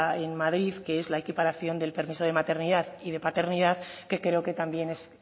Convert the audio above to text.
en madrid que es la equiparación del permiso de maternidad y de paternidad que creo que también es